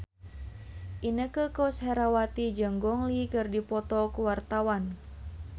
Inneke Koesherawati jeung Gong Li keur dipoto ku wartawan